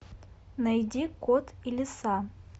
найди кот и лиса